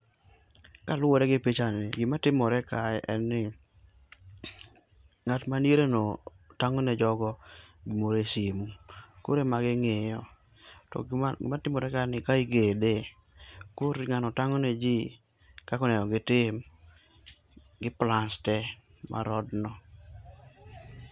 Kaluwore gi picha ni, gik matimore kae en ni ng'at madiere no tang'o ne jogo gimoro e simu. Koro ema ging'iyo. To gima timore kaeni, kae igede koro ng'ano tang'o neji kaka onego gitim gi plans tee mar odno.